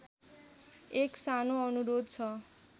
एक सानो अनुरोध छ